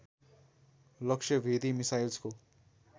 लक्ष्य भेदी मिसाइल्सको